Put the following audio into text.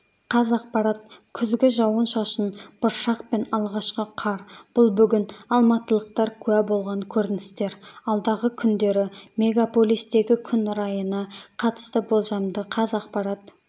қазақпарат күзгі жауын-шашын бұршақ пен алғашқы қар бұл бүгін алматылықтар куә болған көріністер алдағы күндері мегаполистегі күн райына қатысты болжамды қазақпарат